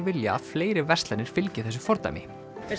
vilja að fleiri verslanir fylgi þessu fordæmi